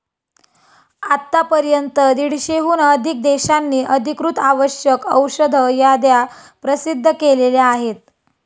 आतापर्यंत दीडशेहून अधिक देशांनी अधिकृत आवश्यक औषध याद्या प्रसिद्ध केलेल्या आहेत.